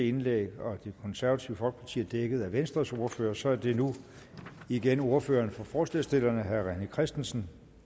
indlæg og at det konservative folkeparti er dækket af venstres ordfører så er det nu igen ordføreren for forslagsstillerne herre rené christensen